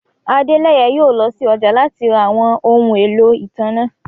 Adẹ́lẹ̀yẹ̀ yóò lọ sí ọjà láti rá àwọn ọhun ẹ̀lọ́ itánná.